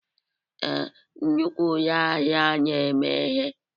Ee, nnukwu ụlọ ahịa na-emeghe.